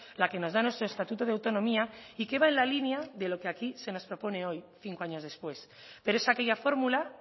la que nos da nuestro estatuto de autonomía y que va en la línea de lo que aquí se nos propone hoy cinco años después pero es aquella fórmula